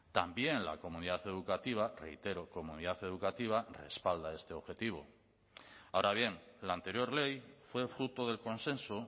también la comunidad educativa reitero comunidad educativa respalda este objetivo ahora bien la anterior ley fue fruto del consenso